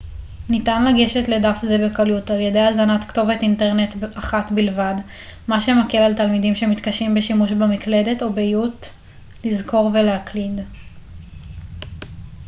ניתן לגשת לדף זה בקלות על ידי הזנת כתובת אינטרנט אחת בלבד מה שמקל על תלמידים שמתקשים בשימוש במקלדת או באיות לזכור ולהקליד